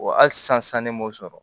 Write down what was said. Wa hali sisan ne m'o sɔrɔ